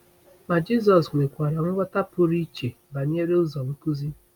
Ma Jisọs nwekwara nghọta pụrụ iche banyere ụzọ nkuzi.